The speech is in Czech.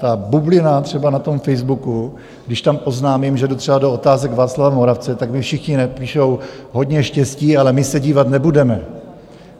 Ta bublina třeba na tom Facebooku, když tam oznámím, že jdu třeba do Otázek Václava Moravce, tak mi všichni napíšou: Hodně štěstí, ale my se dívat nebudeme.